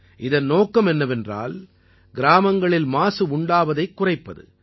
இதன் நோக்கம் என்னவென்றால் கிராமங்களில் மாசு உண்டாவதைக் குறைப்பது